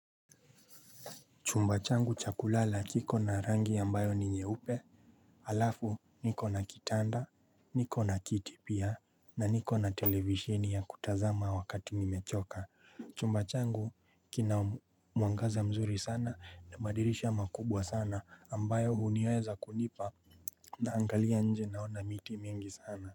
Chumba changu cha kulala kiko na rangi ambayo ni nyeupe alafu niko na kitanda niko na kiti pia na niko na televishini ya kutazama wakati nimechoka Chumba changu kina mwangaza mzuri sana na madirisha makubwa sana ambayo huniweza kunipa naangalia nje naona miti mingi sana.